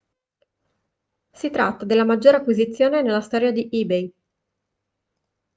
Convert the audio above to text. si tratta della maggiore acquisizione nella storia di ebay